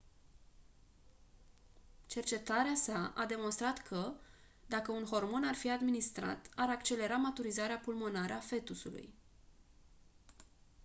cercetarea sa a demonstrat că dacă un hormon ar fi administrat ar accelera maturizarea pulmonară a fetusului